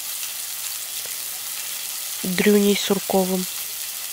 дрюней сурковым